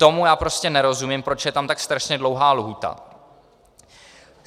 Tomu já prostě nerozumím, proč je tam tak strašně dlouhá lhůta.